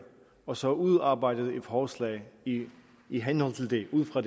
og så udarbejdede et forslag i i henhold til det ud fra